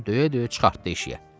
Oğlanı döyə-döyə çıxartdı eşiyə.